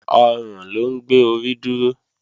Ọrùn ló ń gbé orí dúró